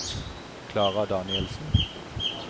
Klara Danielsen